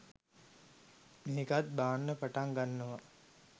මේකත් බාන්න පටන් ගන්නවා